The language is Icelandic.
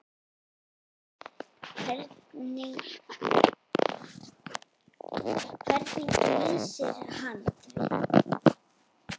Hvernig lýsir hann því?